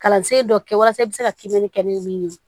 Kalansen dɔ kɛ walasa i bɛ se ka kimɛnni kɛ ni min ye